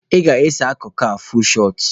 Ị ga-ese akụkụ a, fuul shọt!